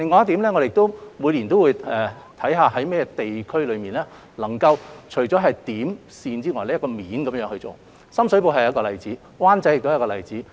此外，我們每年都會看看在甚麼地區除了可以循"點"、"線"方向工作之外，還可以循"面"去做，深水埗就是一個例子，灣仔亦是一個例子。